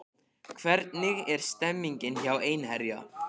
Hvernig er stemningin hjá Einherja?